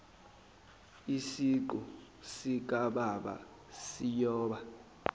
isiqu sikababa siyoba